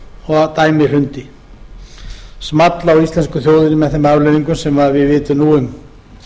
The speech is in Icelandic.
og dæmið hrundi small á íslensku þjóðinni með þeim afleiðingum sem við vitum nú um